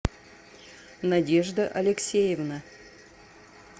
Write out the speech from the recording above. надежда алексеевна